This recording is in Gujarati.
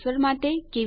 જોડાવા બદ્દલ આભાર